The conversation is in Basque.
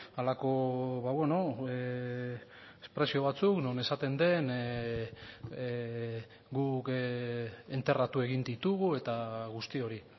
halako espresio batzuk non esaten den guk enterratu egin ditugu eta guzti hori